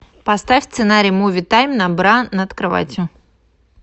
поставь сценарий муви тайм на бра над кроватью